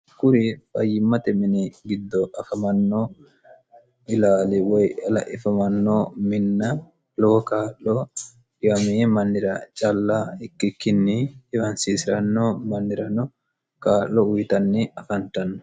kuri fayyimmate mini giddo afamanno ilaali woy la'ifamanno minna lowo kaa'lo dhiwamee mannira calla ikkikkinni dhiwansiisiranno mannirano kaa'lo uyitanni afantanno